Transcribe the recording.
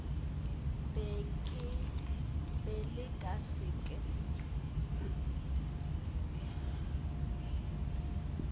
be le ka se ke